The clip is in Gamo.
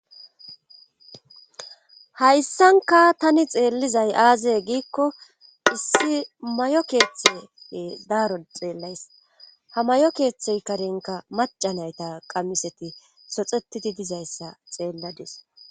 hayssankka tani xeellizay aaze giikko issi mayo keethe daaro xeellays ha mayo keethey karenkka macca nayta qamiseti zoxethidi dizayssa xeelladis.